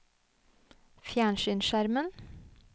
fjernsynsskjermen